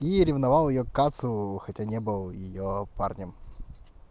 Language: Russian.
и ревновал её к кацу хотя не был её парнем